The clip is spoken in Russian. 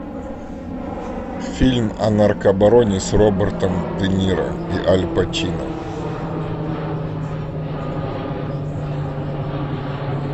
фильм о наркобароне с робертом де ниро и аль пачино